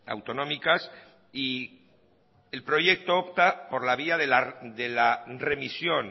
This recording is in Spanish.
autonómicas y el proyecto opta por la vía de la remisión